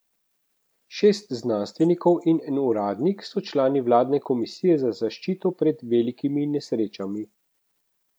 Šest znanstvenikov in en uradnik so člani vladne komisije za zaščito pred velikimi nesrečami.